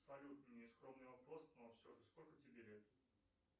салют нескромный вопрос но все же сколько тебе лет